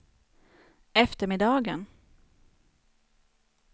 eftermiddagen